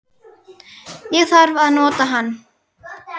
Ég þarf að nota hann